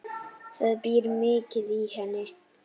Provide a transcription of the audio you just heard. Það býr mikið í henni.